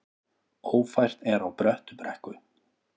Ófært er á Bröttubrekku